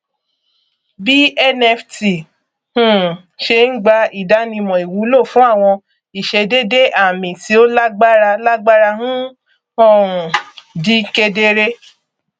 bí nft um ṣé ń gba ìdánimọ ìwúlò fún àwọn ìṣedédé àmì tí ó lágbára lágbára ń um di kédere